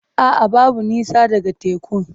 A'a, babu nisa daga tekun.